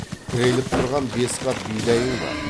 тіреліп тұрған бес қап бидайың бар